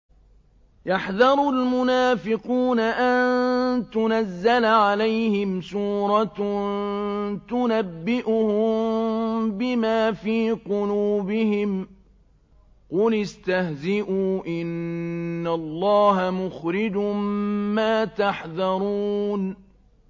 يَحْذَرُ الْمُنَافِقُونَ أَن تُنَزَّلَ عَلَيْهِمْ سُورَةٌ تُنَبِّئُهُم بِمَا فِي قُلُوبِهِمْ ۚ قُلِ اسْتَهْزِئُوا إِنَّ اللَّهَ مُخْرِجٌ مَّا تَحْذَرُونَ